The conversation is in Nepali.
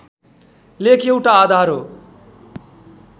लेख एउटा आधार हो